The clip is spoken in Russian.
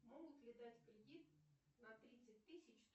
могут ли дать кредит на тридцать тысяч